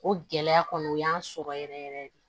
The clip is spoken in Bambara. O gɛlɛya kɔni o y'an sɔrɔ yɛrɛ yɛrɛ de